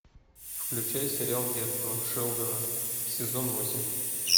включай сериал детство шелдона сезон восемь